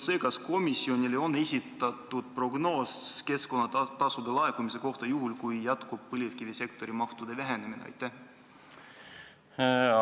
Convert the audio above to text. Kas komisjonile on esitatud prognoos keskkonnatasude laekumise kohta juhul, kui jätkub mahtude vähenemine põlevkivisektoris?